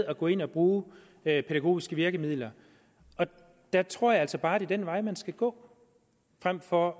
at gå ind at bruge pædagogiske virkemidler og der tror jeg altså bare at det er den vej man skal gå frem for